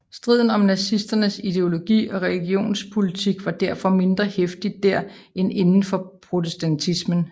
Striden om nazisternes ideologi og religionspolitik var derfor mindre heftig dér end inden for protestantismen